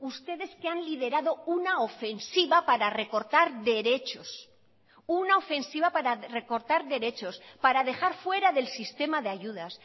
ustedes que han liderado una ofensiva para recortar derechos una ofensiva para recortar derechos para dejar fuera del sistema de ayudas